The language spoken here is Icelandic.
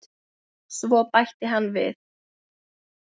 Svo bætti hann við